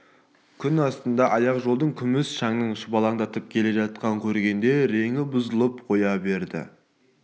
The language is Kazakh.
күн астында аяқ жолдың күміс шаңын шұбалаңдатып келе жатқан көргеңде реңі бұзылып қоя берді